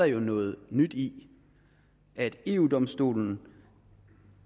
jo noget nyt i at eu domstolen